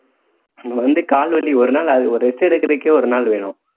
வந்து கால் வலி ஒரு நாள் அ~ rest எடுக்கிறதுக்கே ஒரு நாள் வேணும்